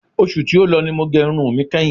Oṣù tí ó lọ ni mo gẹ irun mi kẹ́hin.